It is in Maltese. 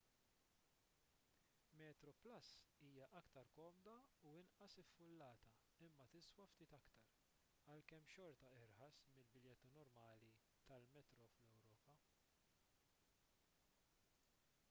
metroplus hija iktar komda u inqas iffullata imma tiswa ftit iktar għalkemm xorta irħas mill-biljetti normali tal-metro fl-ewropa